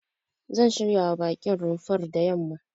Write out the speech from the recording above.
Zan shiryawa baƙin rumfar da yamma.